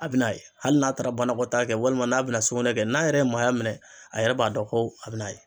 A bi n'a ye hali n'a taara banakɔtaa kɛ walima n'a bina sugunɛ kɛ n'a yɛrɛ ye maaya minɛ a yɛrɛ bi n'a dɔn ko a bi n'a ye